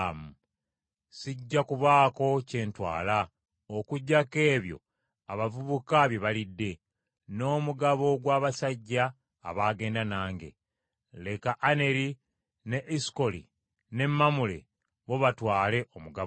Sijja kubaako kye ntwala; okuggyako ebyo abavubuka bye balidde, n’omugabo gw’abasajja abaagenda nange; leka Aneri ne Esukoli ne Mamule bo batwale omugabo gwabwe.”